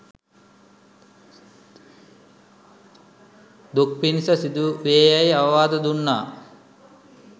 දුක් පිණිස සිදුවේයැයි අවවාද දුන්නා